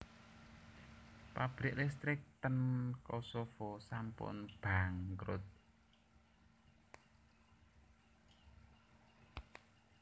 Pabrik listrik ten Kosovo sampun bangkrut